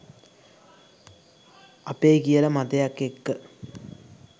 අපේ කියල මතයක් එක්ක